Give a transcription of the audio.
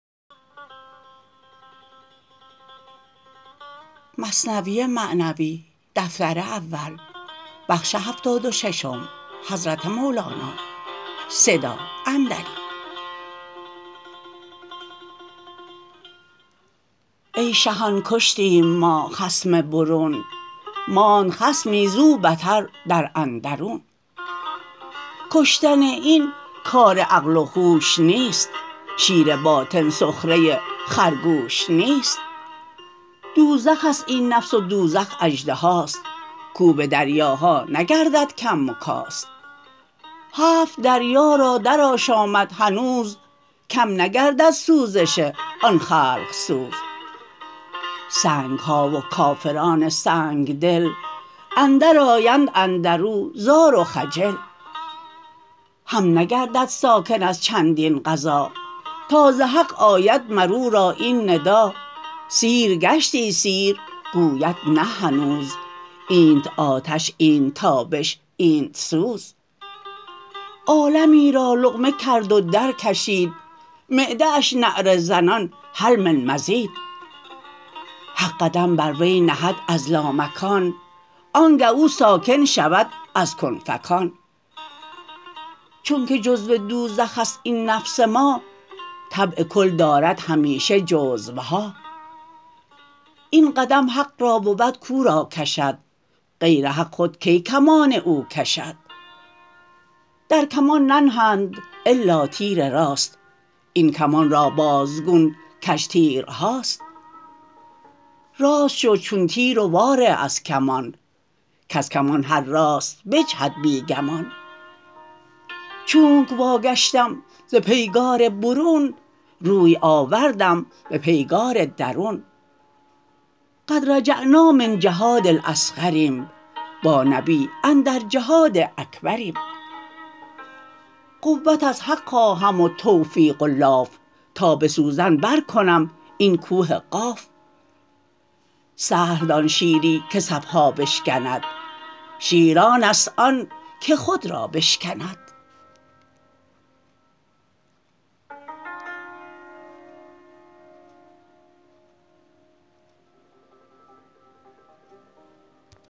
ای شهان کشتیم ما خصم برون ماند خصمی زو بتر در اندرون کشتن این کار عقل و هوش نیست شیر باطن سخره خرگوش نیست دوزخست این نفس و دوزخ اژدهاست کو به دریاها نگردد کم و کاست هفت دریا را در آشامد هنوز کم نگردد سوزش آن خلق سوز سنگها و کافران سنگ دل اندر آیند اندرو زار و خجل هم نگردد ساکن از چندین غذا تا ز حق آید مرورا این ندا سیر گشتی سیر گوید نه هنوز اینت آتش اینت تابش اینت سوز عالمی را لقمه کرد و در کشید معده اش نعره زنان هل من مزید حق قدم بر وی نهد از لامکان آنگه او ساکن شود از کن فکان چونک جزو دوزخست این نفس ما طبع کل دارد همیشه جزوها این قدم حق را بود کو را کشد غیر حق خود کی کمان او کشد در کمان ننهند الا تیر راست این کمان را بازگون کژ تیرهاست راست شو چون تیر و وا ره از کمان کز کمان هر راست بجهد بی گمان چونک وا گشتم ز پیگار برون روی آوردم به پیگار درون قد رجعنا من الجهاد الأصغریم بانبی أندر جهاد أکبریم قوت از حق خواهم و توفیق و لاف تا به سوزن بر کنم این کوه قاف سهل دان شیری که صفها بشکند شیر آنست آن که خود را بشکند